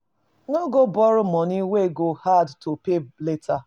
No go borrow money wey go hard to pay later